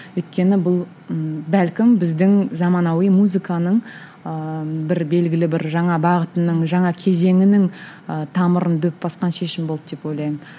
өйткені бұл ы бәлкім біздің заманауи музыканың ыыы бір белгілі бір жаңа бағытының жаңа кезеңінің ыыы тамырын дөп басқан шешім болды деп ойлаймын